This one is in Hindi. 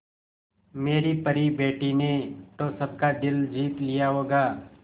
मेरी परी बेटी ने तो सबका दिल जीत लिया होगा